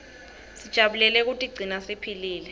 sijabulele kutiguna siphilile